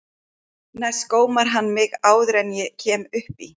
Næst gómar hann mig áður en ég kemst upp í.